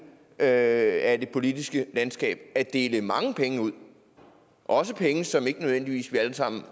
af det politiske landskab i gang at dele mange penge ud også penge som vi ikke alle sammen